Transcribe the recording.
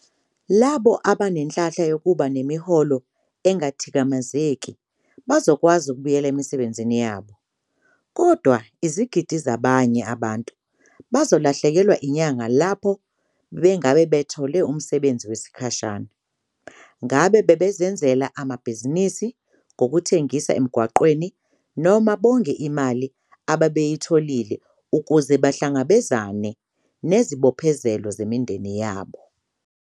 Labo abanenhlanhla yokuba nemiholo engathikamezeki bazokwazi ukubuyela emisebenzini yabo, kodwa izigidi zabanye abantu bazolahlekelwa inyanga lapho bebengabe bethole umsebenzi wesikhashana, ngabe bazenzele amabhizinisi ngokuthengisa emgwaqeni noma bonge imali ababeyitholile ukuze bahlangabezane nezibophezelo zemindeni yabo.